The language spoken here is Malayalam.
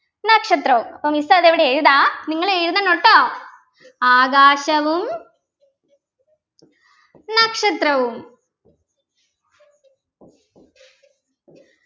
നക്ഷത്രവും അപ്പൊ miss അതിവിടെ എഴുതാ നിങ്ങൾ എഴുതണൊ ട്ടോ ആകാശവും നക്ഷത്രവും